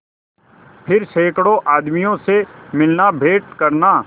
फिर सैकड़ों आदमियों से मिलनाभेंट करना